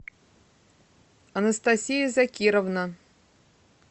анастасия закировна